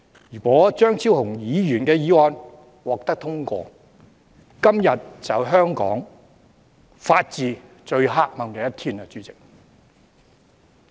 如果張超雄議員的議案獲得通過，今天就是香港法治最黑暗的一天，代理主席。